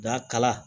Da kala